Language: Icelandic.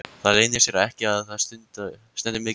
Það leynir sér ekki að það stendur mikið til.